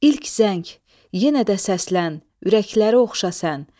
İlk zəng, yenə də səslən, ürəkləri oxşa sən.